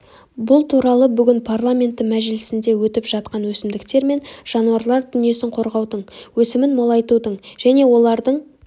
бұл туралы бүгін парламенті мәжілісінде өтіп жатқан өсімдіктер мен жануарлар дүниесін қорғаудың өсімін молайтудың және олардың